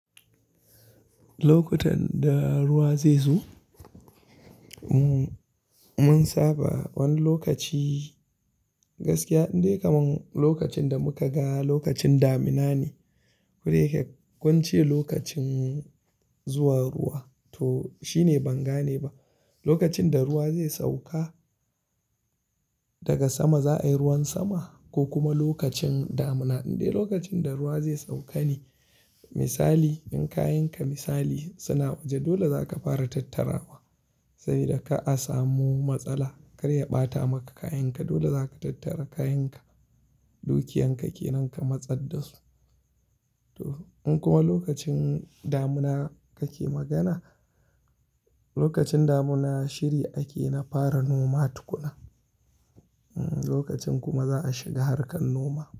Lokutan da ruwa zai zo, mun saba wani lokaci gaskiya indai kaman lokacin da muka ga lokacin damina ne. Mun saba wani lokaci gaskiya indai kaman lokacin da muka ga lokacin damina ne. Toh shine ban gane ba Lokacin da ruwa zai sauka daga sama za ayi ruwan sama ko lokacin danuna ne indai lokacin da za ayi ruwa ne misali indai kayan ka suna waje dole zaka fara tattarawa sabida kar asamu matsala kar ya bata maka kayan ka katattara kayanka dukiyan ka ne To in kuma lokacin damina kake magana, lokacin damina shiri ake na fara noma tukuna. Lokacin kuma za a shiga harkan noma.